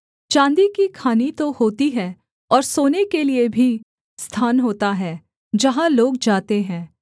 चाँदी की खानि तो होती है और सोने के लिये भी स्थान होता है जहाँ लोग जाते हैं